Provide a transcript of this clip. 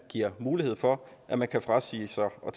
giver mulighed for at man kan frasige sig at